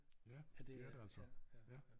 Ja det er det altså ja